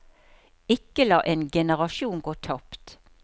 Ikke la en generasjon gå tapt.